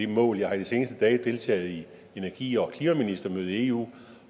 mål jeg har i de seneste dage deltaget i energi og klimaministermødet i eu